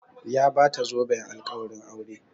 Ya bata zoben alƙawarin aure